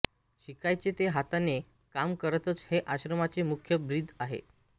शिकायचे ते हाताने काम करतच हे आश्रमाचे मुख्य ब्रीद आहे